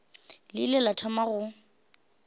le ile la thoma go